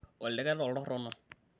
oldeket oltorrono